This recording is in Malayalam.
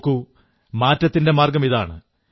നോക്കൂ മാറ്റത്തിന്റെ മാർഗ്ഗമിതാണ്